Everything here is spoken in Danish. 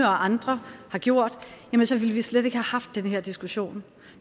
og andre har gjort så ville vi slet ikke have haft den her diskussion